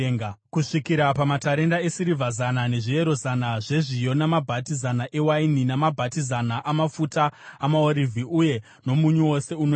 kusvikira pamatarenda esirivha zana, nezviyero zana zvezviyo namabhati zana ewaini, namabhati zana amafuta amaorivhi, uye nomunyu wose unodiwa.